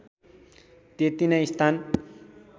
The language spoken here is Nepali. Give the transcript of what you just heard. त्यति नै स्थान